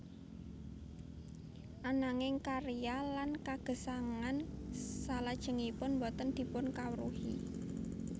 Ananging karya lan kagesangan salajengipun boten dipunkawruhi